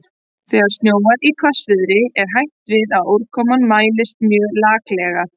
Þegar snjóar í hvassviðri er hætt við að úrkoman mælist mjög laklega.